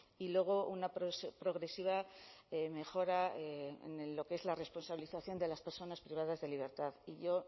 y luego una progresiva mejora en lo que es la responsabilización de las personas privadas de libertad y yo